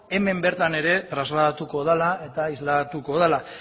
hemen bertan ere trasladatuko dela eta islatuko dela